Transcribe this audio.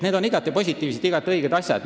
Need on positiivsed ja õiged asjad.